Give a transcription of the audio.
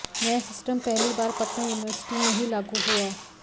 नया सिस्टम पहली बार पटना यूनिवर्सिटी में ही लागू हुआ